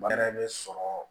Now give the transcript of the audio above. yɛrɛ bɛ sɔrɔ